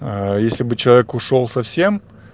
а если бы человек ушёл совсем